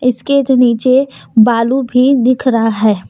इसके नीचे बालू भी दिख रहा है।